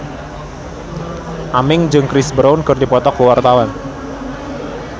Aming jeung Chris Brown keur dipoto ku wartawan